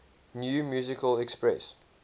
new musical express